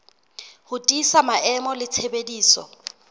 ho tiisa maemo le tshebediso